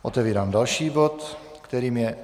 Otevírám další bod, kterým je